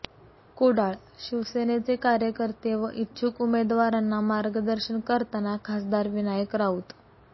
कुडाळ ः शिवसेनेचे कार्यकर्ते व इच्छुक उमेदवारांना मार्गदर्शन करताना खासदार विनायक राऊत